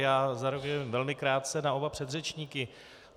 Já zareaguji velmi krátce na oba předřečníky.